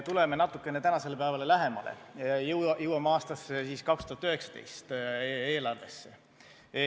Tuleme natukene tänasele päevale lähemale, jõuame aastasse 2019, eelarvesse.